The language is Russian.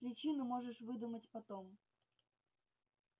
причину можешь выдумать потом